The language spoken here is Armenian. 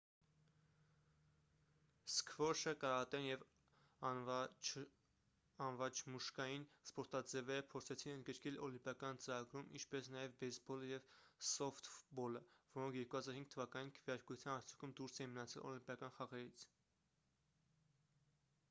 սքվոշը կարատեն և անվաչմուշկային սպորտաձևերը փորձեցին ընդգրկել օլիմպիական ծրագրում ինչպես նաև բեյսբոլը և սոֆթբոլը որոնք 2005 թվականին քվեարկության արդյունքում դուրս էին մնացել օլիմպիական խաղերից